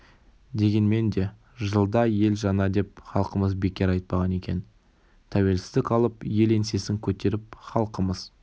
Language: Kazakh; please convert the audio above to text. дегенмен де жылда ел жаңа деп халқымыз бекер айтпаған екен тәуелсіздік алып ел еңсесін көтеріп халқымыз